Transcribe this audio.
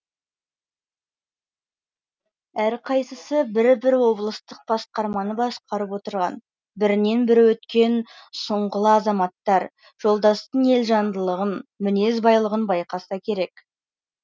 әрқайсысы бір бір облыстық басқарманы басқарып отырған бірінен бірі өткен сұңғыла азаматтар жолдастың елжандылығын мінез байлығын байқаса керек